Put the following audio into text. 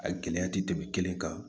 A gɛlɛya tɛ tɛmɛ kelen kan